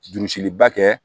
Jurusiliba kɛ